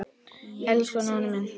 Elsku Nonni minn.